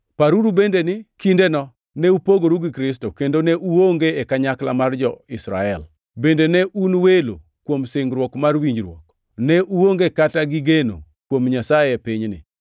paruru bende ni kindeno ne upogoru gi Kristo, kendo ne uonge e kanyakla mar jo-Israel, bende ne un welo kuom singruok mar winjruok, ne uonge kata gi geno kuom Nyasaye e pinyni.